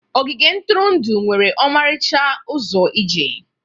Ogige ntụrụndụ nwere ọmarịcha ụzọ ije.